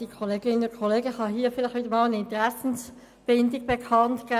Ich kann an dieser Stelle wieder einmal eine Interessenbindung bekanntgeben: